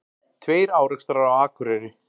Tveir árekstrar á Akureyri